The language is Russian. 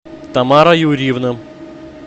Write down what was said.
тамара юрьевна